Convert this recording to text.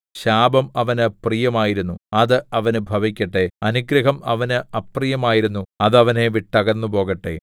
ശാപം അവന് പ്രിയമായിരുന്നു അത് അവന് ഭവിക്കട്ടെ അനുഗ്രഹം അവന് അപ്രിയമായിരുന്നു അത് അവനെ വിട്ടകന്നുപോകട്ടെ